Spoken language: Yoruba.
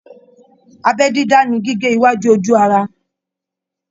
Abẹ dídá ní gígé iwájú ojú ara.